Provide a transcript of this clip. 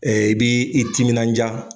i b'i i timinandiya